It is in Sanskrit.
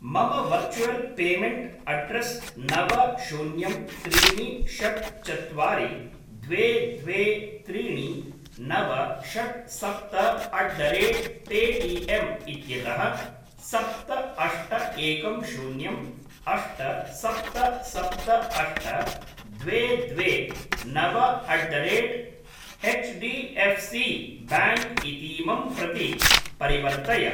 मम वर्चुवल् पेमेण्ट् अड्रेस् नव शून्यं त्रीणि षट् चत्वारि द्वे द्वे त्रीणि नव षट् सप्त अट् द रेट् पेटिएम् इत्यतः सप्त अष्ट एकं शून्यम् अष्ट सप्त सप्त अष्ट द्वे द्वे नव अट् द रेट् एच्डिएफ्सिब्याङ्क् इतीमं प्रति परिवर्तय।